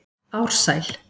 Ársæl